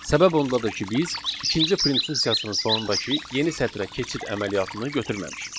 Səbəb ondadır ki, biz ikinci print funksiyasının sonundakı yeni sətrə keçid əməliyyatını götürməmişik.